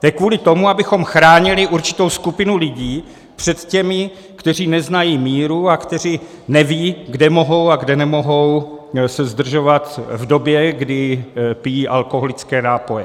To je kvůli tomu, abychom chránili určitou skupinu lidí před těmi, kteří neznají míru a kteří nevědí, kde mohou a kde nemohou se zdržovat v době, kdy pijí alkoholické nápoje.